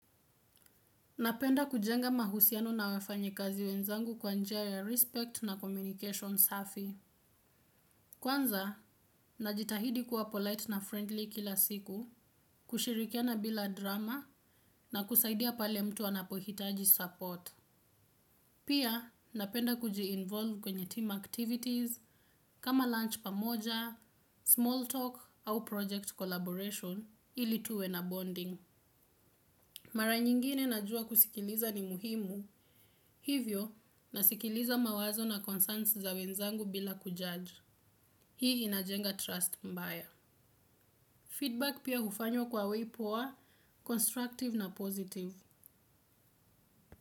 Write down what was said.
Napenda kujenga mahusiano na wafanyikazi wenzangu kwanjia ya respect na communication safi. Kwanza, najitahidi kuwa polite na friendly kila siku, kushirikia na bila drama na kusaidia pale mtu anapohitaji support. Pia, napenda kuji-involve kwenye team activities kama lunch pamoja, small talk au project collaboration ili tuwe na bonding. Mara nyingine najua kusikiliza ni muhimu, hivyo nasikiliza mawazo na concerns za wenzangu bila kujudge. Hii inajenga trust mbaya. Feedback pia hufanywa kwa wei poa, constructive na positive.